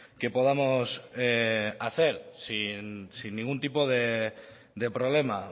que podamos hacer sin ningún tipo de problema